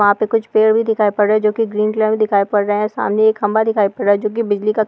यहाँ पर कुछ पेड़ भी दिखाई पर रहे हैंजो की ग्रीन कलर में दिखाई पर रहे हैंसामने एक खंभा दिखाईं पर रहा हैंजो की बिजली का --